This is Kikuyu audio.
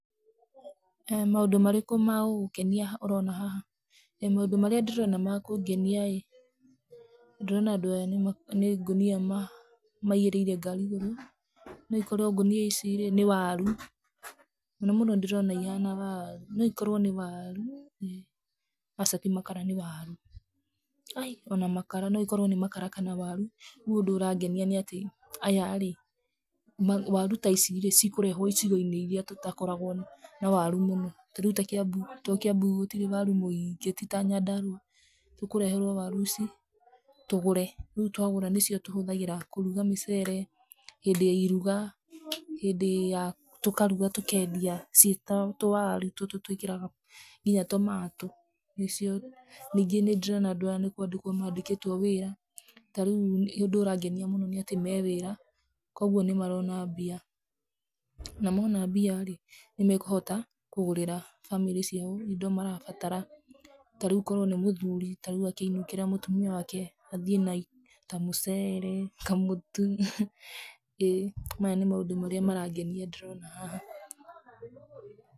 Nĩ maũndũ marĩkũ magũgũkenia ũroona haha? Maũndũ marĩa ndĩroona ma kũngenia ĩĩ, ndĩrona andũ aya nĩ ngũnia maigĩrĩire igũrũ. No ikorwo ngũnia ici nĩ waru. Mũno mũno ndĩrona ihana waaru, no ikorwo nĩ waaru. Aca ti makara nĩ waaru. Ai, ona makara. No ikorwo nĩ makara kana waaru. Rĩu ũndũ ũrangenia nĩ atĩ aya rĩ, waru ta ici cikũrehwo icigo-inĩ iria tũtakoragwo na waaru mũno, ta rĩu ta Kĩambu tondũ Kĩambu gũtirĩ waaru mũingĩ ti ta Nyandarũa. Tũkũreherwo waru ici tũgũre. Rĩu twagũra nĩcio tũhũthagĩra kũruga mĩcere, hĩndĩ ya iruga, tũkaruga tũkendia ciĩ ta tũwaru tũtũ twĩkĩraga nginya tomatũ. Ningĩ nĩ ndĩrona andũ aya nĩ kwandĩkwo mandĩkĩtwo wĩra. Ta rĩu ũndũ ũrangenia mũno nĩ atĩ me wĩra, kogwo nĩ marona mbia, na mona mbia rĩ, nĩ mekũhota kũgũrĩra bamĩrĩ ciao indo marabatara. Ta rĩu korwo nĩ mũthuri, ta rĩu angĩinũkĩra mũtumia wake athiĩ na ta mũcere, kamũtu. Maya nĩ maũndũ marĩa marangenia ndĩrona haha.